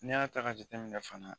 N'i y'a ta ka jateminɛ fana